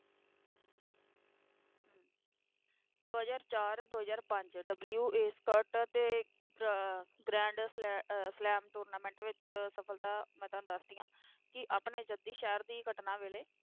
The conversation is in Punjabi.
ਦੋ ਹਜ਼ਾਰ ਚਾਰ ਦੋ ਹਜ਼ਾਰ ਪੰਜ WTA ਸਰਕਟ ਅਤੇ ਅਹ grand ਸਲ~ ਅਹ slam tournament ਵਿੱਚ ਸਫ਼ਲਤਾ ਮੈਂ ਤੁਹਾਨੂੰ ਦੱਸਦੀ ਹਾਂ, ਕਿ ਆਪਣੇ ਜੱਦੀ ਸ਼ਹਿਰ ਦੀ ਘਟਨਾ ਵੇਲੇ,